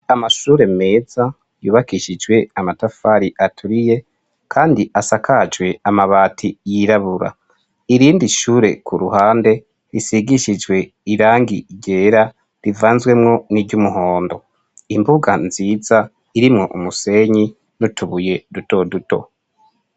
Amashure meza, yubakishijwe amatafari aturiye, kandi asakajwe amabati yirabura, irindi ishure ku ruhande ,risigishijwe irangi ryera ,rivanzwemwo n'iry'umuhondo, imbuga nziza irimwo umusenyi n'utubuye duto duto.